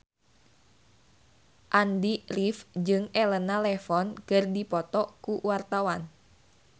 Andy rif jeung Elena Levon keur dipoto ku wartawan